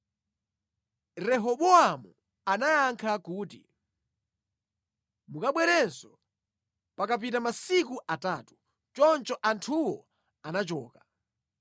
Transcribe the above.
Rehobowamu anayankha kuti, “Mukabwerenso pakapita masiku atatu.” Choncho anthuwo anachoka.